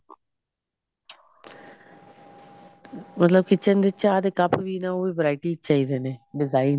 ਮਤਲਬ kitchen ਵਿੱਚ ਚਾਹ ਦੇ ਕੱਪ ਵੀ ਨਾ ਉਹ ਵੀ variety ਚ ਚਾਹੀਦੇ ਨੇ design